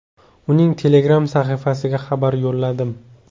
Uning Telegram-sahifasiga xabar yo‘lladim.